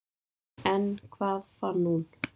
En hvað fann hún?